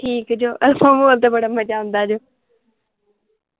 ਠੀਕ ਜੋ Alpha Mall ਤੇ ਬੜਾ ਮਜਾ ਆਉਂਦਾ ਜੇ